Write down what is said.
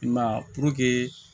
I m'a ye puruke